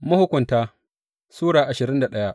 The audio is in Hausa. Mahukunta Sura ashirin da daya